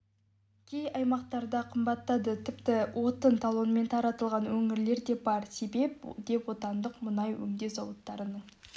кей аймақтарда қымбаттады тіпті отын талонмен таратылған өңірлер де бар себеп деп отандық мұнай өңдеу зауыттарының